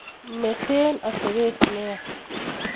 mete atebet nea